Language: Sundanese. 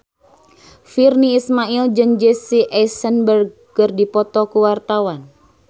Virnie Ismail jeung Jesse Eisenberg keur dipoto ku wartawan